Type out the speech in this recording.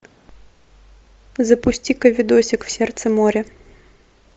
запусти ка видосик в сердце моря